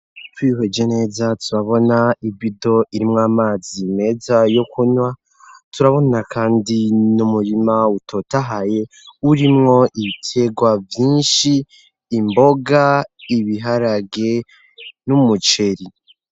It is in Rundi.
Twihweje neza turabona ibido irimwo amazi meza yo kunwa turabona kandi n'umurima utotahaye urimwo ibiterwa vyinshi imboga ibiharage n'umuceri.